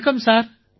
வணக்கம் சார்